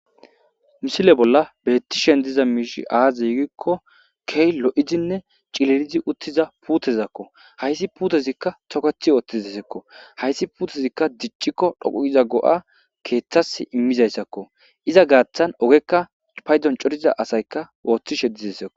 misile bolla beettishen diza miishi azegikko kehi lo7izinne cilirizi uttiza puutezakko hayssi puutezikka tokethi oothti desekko hayssi puutezikka diccikko dhoquiza go7a keeththas immizayssakko iza gaaththan ogekka paydon coriza asayka ooththishe dizassako